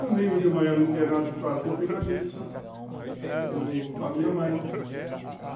Domingo de manhã eu não tinha nada que fazer, eu fui na missa... com a minha mãe.